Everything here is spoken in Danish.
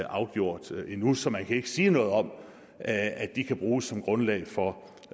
afgjort endnu så man kan ikke sige noget om at de kan bruges som grundlag for